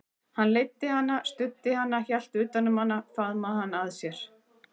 Hann leiddi hana, studdi hana, hélt utan um hana, faðmaði hana að sér.